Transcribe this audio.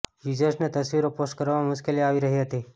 યૂઝર્સને તસવીરો પોસ્ટ કરવામાં મુશ્કેલી આવી રહી હતી